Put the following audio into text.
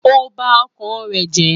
Óò bá ọkàn rè jẹ́.